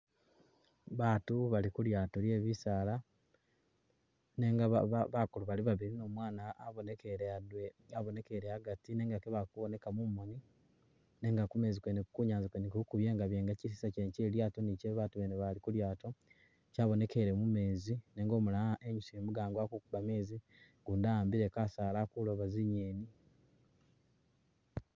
Baatu bali kulyaato lyebisaala nenga ba ba bakulu bali babili ni umwana abonekele a'gati nenga kebali kuboneka mumoni nenga kumezi kwene kunyanza kwene kuliko kubyengabyenga chisisa chelilyaato ni che'babaatu bene bali kulyaato chabonekele mumeezi nenga umulala enyusile mugango ali kokuba meezi ugundi awambile kasaala ali kulooba tsi'ngeni